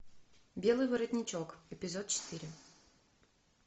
белый воротничок эпизод четыре